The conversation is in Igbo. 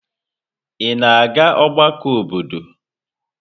Ị na-aga ọgbakọ obodo?